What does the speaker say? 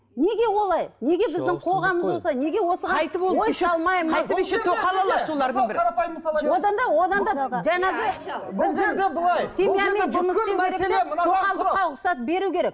неге олай тоқалдыққа рұқсат беру керек